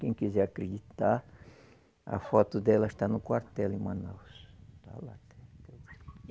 Quem quiser acreditar, a foto dela está no quartel em Manaus. Está lá até